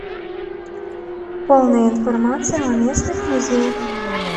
полная информация о местных музеях